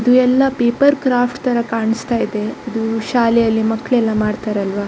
ಇದು ಎಲ್ಲ paper craft ತರ ಕಾಣಿಸ್ತಾ ಇದೆ ಅದು ಶಾಲೆಯಲ್ಲಿ ಮಕ್ಕಳೆಲ್ಲ ಮಾಡ್ತಾರಲ್ವಾ.